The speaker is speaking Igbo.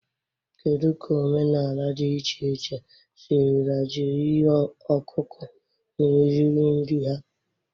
Kedu ka omenala dị iche iche sirila jiri ihe ọkụkụ na-eri nri ha?